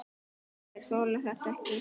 Þeir þola þetta ekki.